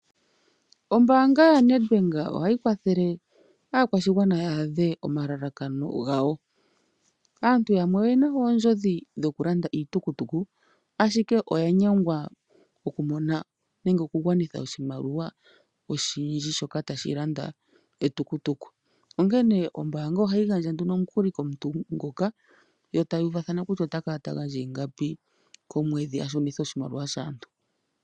Ombaanga ya Nedbank ohayi kwathele aakwashigwana ya adhe omalalakano gawo. Aantu yamwe oyena oondjodhi dhokulanda nande iitukutuku ashike oyanyengwa okumona nange oku gwanitha oshimaliwa oshindji shoka tashi landa etukutuku onkene ombaanga ohayi gandja nduno omukuli komuntu e taya uvathana kutya otakala ta gandja ingapi komwedhi